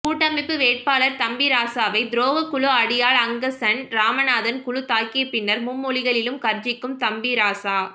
கூட்டமைப்பு வேட்பாளர் தம்பிராசவை துரோக குழு அடியாள் அங்கசன் ராமநாதன் குழு தாக்கிய பின்னர் மும்மொழிகளிலும் கர்சிக்கும் தம்பிராசா